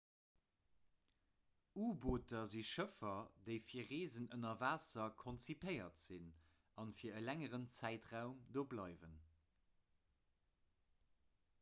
u-booter si schëffer déi fir reesen ënner waasser konzipéiert sinn a fir e längeren zäitraum do bleiwen